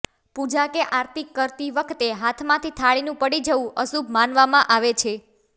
પૂજા કે આરતી કરતી વખતે હાથમાંથી થાળીનું પડી જવું અશુભ માનવામાં આવે છે